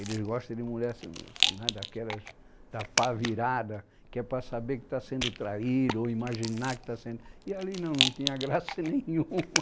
Eles gostam de mulher daquelas, da pá virada, que é para saber que está sendo traído ou imaginar que está sendo... E ali não, não tinha graça nenhuma.